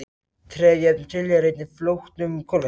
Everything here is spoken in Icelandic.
Trefjaefni tilheyra einnig flóknum kolvetnum.